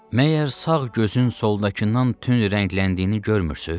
Məgər sağ gözün soldakından tünd rəngləndiyini görmürsüz?